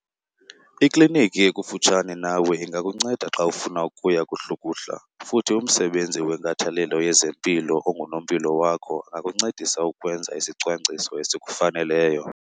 Ikliniki ekufutshane nawe ingakunceda xa ufuna ukuya kuhlukuhla futhi umsebenzi wenkathalelo yezempilo ongunompilo wakho angakuncedisa ukwenza isicwangciso esikufaneleyo